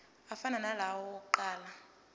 afana nalawo awokuqala